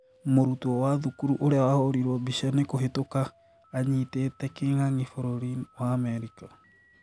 Mũrutwo wa thukuru ũria wahũrĩrwo mbica nĩ kũhĩtũka anyitĩte kĩng'ang'i bũrũri wa Amerika